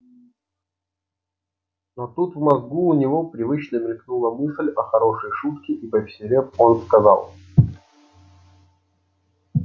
но тут в мозгу у него привычно мелькнула мысль о хорошей шутке и повеселев он сказал